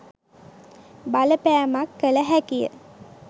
බලපෑමක් කල හැකිය.